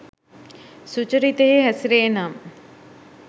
සුචරිතයෙහි හැසිරේනම්